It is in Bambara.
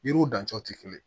Yiriw dancogo tɛ kelen ye